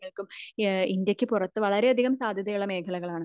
ഇന്ത്യക്കു പുറത്തു വളരെ സാദ്ധ്യതകൾ ഉള്ള മേഖലകൾ ആണ്